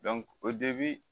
o de bi